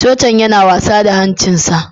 Chogchan yana wasa da hancinsa.